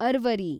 ಅರ್ವರಿ